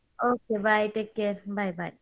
Okay bye take care bye bye.